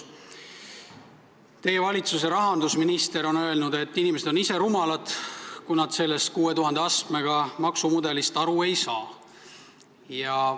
Teie valitsuse rahandusminister on öelnud, et inimesed on ise rumalad, kui nad sellest 6000 astmega maksumudelist aru ei saa.